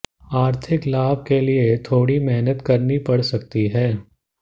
आर्थिक लाभ के लिए थोड़ी मेहनत करनी पड़ सकती है